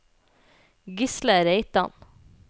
Gisle Reitan